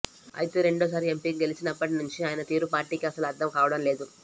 అయితే రెండోసారి ఎంపీగా గెలిచినప్పటి నుంచి ఆయన తీరు పార్టీకి అస్సలు అర్థం కావడం లేదు